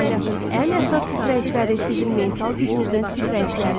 Kainatın ən əsas titrəyişləri sizin mental gücünüzün titrəyişləridir.